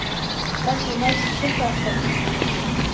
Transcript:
Þarna mætast Tindastólsmennirnir.